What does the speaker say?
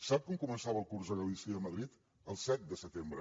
sap quan començava el curs a galícia i a madrid el set de setembre